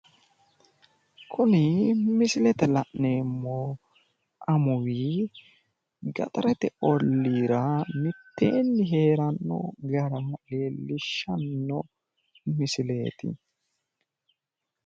Kuni misilete la'neemmohu amuwi gaxarete olliira mitteenni heeranno gara leellishshsanno misileeti